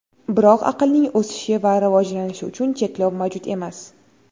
Biroq aqlning o‘sishi va rivojlanishi uchun cheklov mavjud emas.